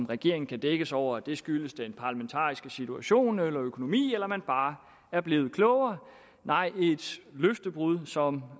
regeringen kan dække sig ind over at det skyldes den parlamentariske situation økonomien eller man bare er blevet klogere nej er et løftebrud som